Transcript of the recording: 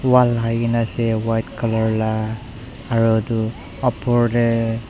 bhal lakaikaena ase aro edu opor tae.